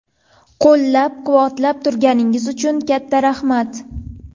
Qo‘llab-quvvatlab turganingiz uchun katta rahmat!